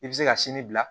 I bɛ se ka sini bila